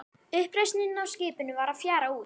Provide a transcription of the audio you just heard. Uppreisnin á skipinu var að fjara út.